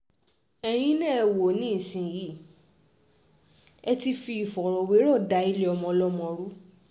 ẹ̀yin náà ẹ wò ó nísìnyìí ẹ ti fi ìfọ̀rọ̀wérọ̀ da ilé ọmọọlọ́mọ rú